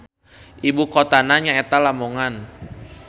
Ibukotana nyaeta Lamongan.